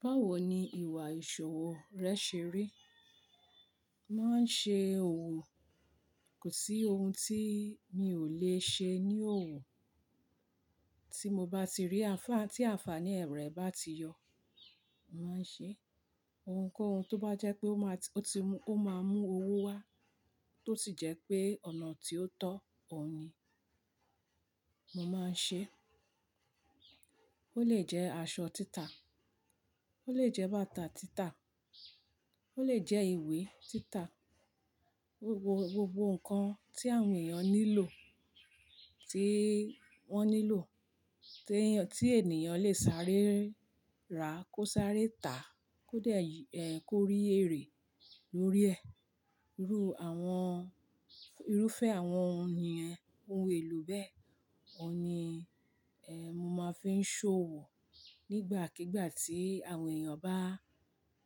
Báwo ni ìwà ìṣòwò rẹ ṣe rí? Máa ń ṣe òwò, kò sí ohun tí mi ò le ṣe ní òwò. Tí mo bá ti rí ànfàní, tí ànfàní ẹ rẹ̀ bá ti yọ, mo màá ṣe ohunkóhun tó bá jẹ́ pé ó máa ti, ó ti mú, ó máa mú owó wá, tó sì jẹ́ pé ọ̀nà tí ó tọ́ ọ ní, mo máa ṣe. Ó lè jẹ́ aṣọ títà, ó lè jẹ́ bàtà títà, ó lè jẹ́ ìwé títà. Gbogbo, gbogbo nǹkan tí àwọn èèyàn nílò, tí wọ́n nílò, t'éèyàn, tí ènìyàn lè sáré ra kó sáré tà, kó dè, ẹ kó rí èrè lórí ẹ̀, irú àwọn, irúfẹ́ àwọn òun yẹn, ohun èlò bẹ́ẹ̀, òhun ni, ẹ, mo máa fi ń ṣe òwò. Nígbàkígbà tí àwọn èèyàn bá,